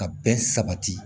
Ka bɛn sabati